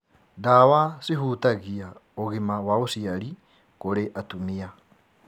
Ndawa cihutagia ũgima wa ũciari kũrĩ atumia.